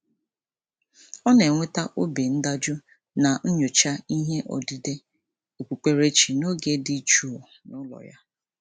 Ọ na-enweta obi ndajụ na nyocha ihe odide okpukperechi n'oge dị jụụ n'ụlọ ya.